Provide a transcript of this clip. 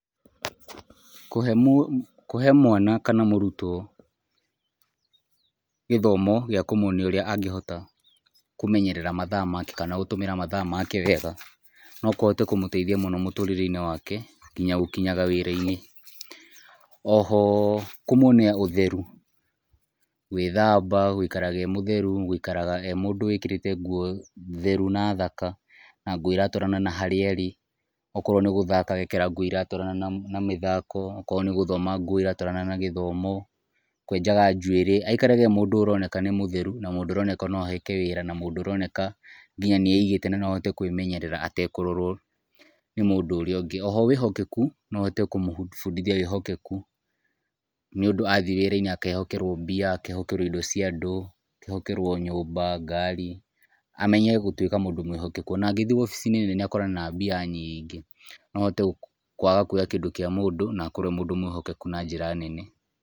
Kũhe mũ, kũhe mwana kana mũrũtwo gĩthomo gĩa kũmũonia ũrĩa angihota kũmenyerera mathaa make kana gũtũmira mathaa make wega nokũhote kũmũteithia mũno mũtũrĩre wake nginya gũkinyaga wĩra-inĩ. Oho kũmwonia ũtherũ, gwĩthamba, gũikara e mũtherũ, gũikaraga e mũndũ ũikĩrĩte ngũo therũ na thaka na ngũo iatwarana na harĩa arĩ. Okorwo nĩ gũthaka agekĩra ngũo iratwarana na mĩthako okorwo nĩ gũthoma ngũo iratwarana na gĩthomo, kwenjaga njũĩrĩ aikarage e mũndũ ũroneka nĩ mũtherũ na mũndũ ũroneka no aheke wĩra na mũndũ ũroneka nginya nieigĩte noahote kwĩmenyerera atekũrorwo nĩ mũndũ ũrĩa ũngĩ. Oho wĩhokekũ noũhote kũmũbundithia wĩhokekũ. Nĩundũ athiĩ wĩra-inĩ akehokerwo mbia akehokerwo indo ciandũ akehokerwo nyũmba, ngari. Amenye gũtũĩka mũndũ mwĩhokekũ ona angĩthiĩ obici-inĩ akorane na mbia nyingĩ no ahote kwaga kũoya kĩndũ kĩa mũndũ na akorwo e mũndũ mwĩhokekũ na njĩra nene.